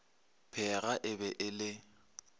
pheega e be e le